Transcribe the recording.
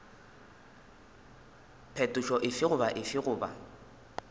phetošo efe goba efe goba